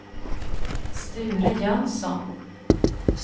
Sture Jönsson